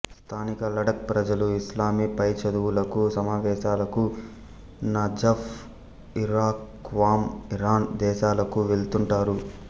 స్థానిక లడక్ ప్రజలు ఇస్లామీ పైచదువులకు సమావేశాలకు నజఫ్ఇరాక్ క్వాం ఇరాన్ దేశాలకు వెళుతుంటారు